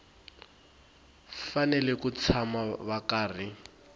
fanele ku tshama va karhi